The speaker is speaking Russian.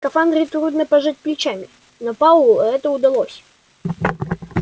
в скафандре трудно пожать плечами но пауэллу это удалось